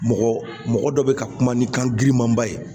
Mɔgɔ mɔgɔ dɔ bɛ ka kuma ni kan girinmanba ye